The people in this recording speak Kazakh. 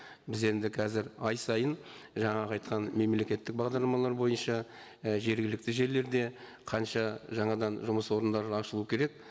біз енді қазір ай сайын жаңағы айтқан мемлекеттік бағдарламалар бойынша і жергілікті жерлерде қанша жаңадан жұмыс орындары ашылу керек